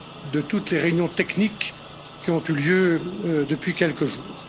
de toutes les réunions techniques qui ont eu lieu depuis quelques jours.